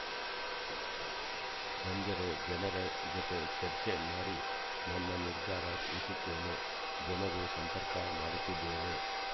ಬಂದರೆ ಜನರ ಜತೆ ಚರ್ಚೆ ಮಾಡಿ ನನ್ನ ನಿರ್ಧಾರ ತಿಳಿಸಿತ್ತೇನೆ ಜನರು ಸಂಪರ್ಕ‌ ಮಾಡುತ್ತಿದ್ದೇನೆ